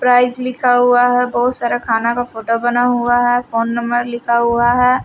Prize लिखा हुआ है बहुत सारा खाना का फोटो बना हुआ है फोन नंबर लिखा हुआ है।